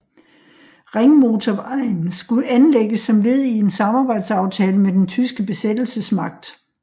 Ringmotorvejen skulle anlægges som led i en samarbejdsaftale med den tyske besættelsesmagt